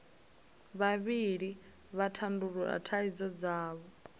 vhavhili vha tandulula thaidzo dzavho